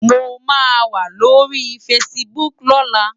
Mó má wá lóri fásibúk lòlá